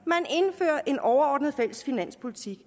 er en overordnet fælles finanspolitik